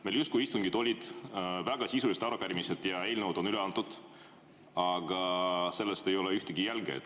Meil justkui istungid olid, väga sisulised arupärimised ja eelnõud on üle antud, aga sellest ei ole ühtegi jälge.